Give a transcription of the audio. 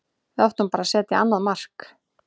Við áttum bara að setja annað mark.